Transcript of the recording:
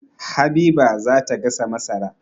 Habiba za ta gasa masara.